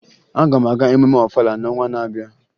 Aga m aga emume Ọfala n'ọnwa na-abịa